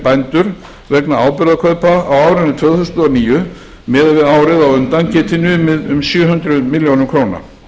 bændur vegna áburðarkaupa á árinu tvö þúsund og níu miðað við árið á undan geti numið um sjö hundruð milljóna króna